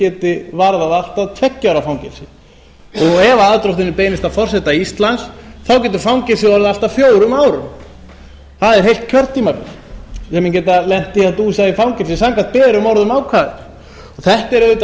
geti varðað allt að tveggja ára fangelsi ef aðdróttunin beinist að forseta íslands þá getur fangelsið orðið allt að fjórum árum það er heilt kjörtímabil við getum lent í að dúsa í fangelsi samkvæmt berum orðum ákvæðis þetta er auðvitað